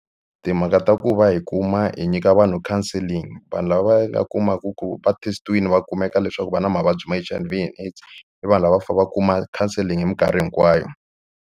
Timhaka ta ku va hi kuma hi nyika vanhu counselling vanhu lavaya va kumaka ku va test-iwini va kumeka leswaku va na mavabyi ma H_I_V and AIDS i vanhu lava va fane va kuma counselling hi mikarhi hinkwayo.